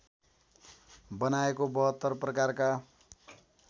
बनाएको ७२ प्रकारका